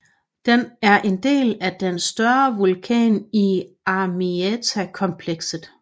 Den er en del af den større vulkan i Amiatakomplekset